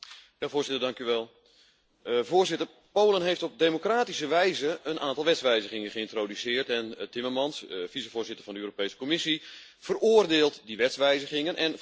Polen heeft op democratische wijze een aantal wetswijzigingen geïntroduceerd en mijnheer Timmermans, vicevoorzitter van de Europese Commissie, veroordeelt die wetswijzigingen en veroordeelt daarmee indirect dus ook de Poolse democratie.